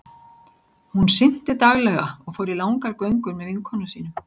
Hún synti daglega og fór í langar göngur með vinkonum sínum.